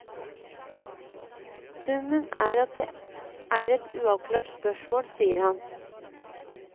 Summen er at det er et uavklart spørsmål, sier han.